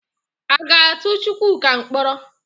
A ga-atụ Chukwuka mkpọrọ?